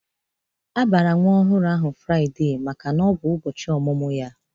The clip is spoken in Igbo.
A bara nwa ọhụrụ ahụ Fraide maka na ọ bụ ụbọchị ọmụmụ ya.